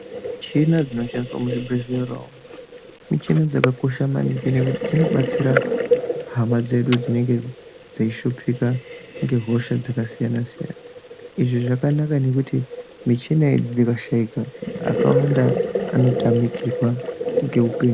Michina dzinoshandiswa muzvibhehleya umwo michini dzakakosha maningi ngekuti dzinobatsira hama dzedu dzinonga dzeishupika ngehosha dzakasiyanasiyana izvi zvakanaka ngekuti michini idzi dzikashaika akawanda anotamikirwa ngeupenyu.